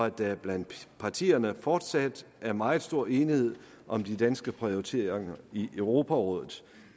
at der blandt partierne fortsat er meget stor enighed om de danske prioriteringer i europarådet